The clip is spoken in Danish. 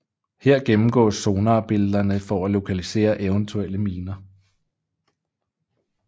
Her gennemgås sonarbillederne for at lokalisere eventuelle miner